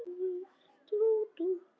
Og segir svo